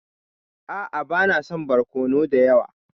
A'a bana son barkono dayawa.